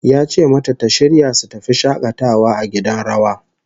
Ya ce mata ta shirya su tafi shakatawa a gidan rawa